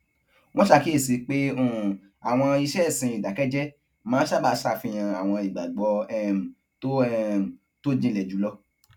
wón ṣàkíyèsi pé um àwọn iṣé ìsìn ìdàkẹjẹ máa n sábà ṣàfihàn àwọn ìgbàgbọ um tó um tó jinlè jù lọ